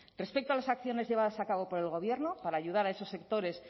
respecto a las acciones llevadas a cabo por el gobierno para ayudar a esos sectores